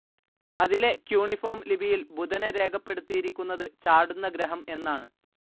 അതിലെ ക്യൂണിഫോർം ലിപിയിൽ ബുധനെ രേഖപ്പെടുത്തിയിരിക്കുന്നത് ചാടുന്ന ഗ്രഹം എന്നാണ്.